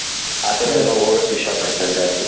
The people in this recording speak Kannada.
ಅ ತರ ಎಲ್ಲ ಹೋಗಗೆ ಇಷ್ಟ ಪಡ್ತಾರೆ ಜಾಸ್ತಿ ,